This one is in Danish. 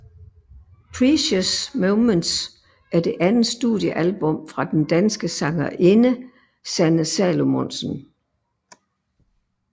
Precious Moments er det andet studiealbum fra den danske sangerinde Sanne Salomonsen